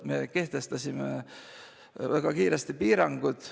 Me kehtestasime väga kiiresti piirangud.